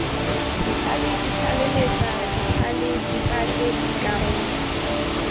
ditlhale ditlaleletsa ditlhale diphate dikarolo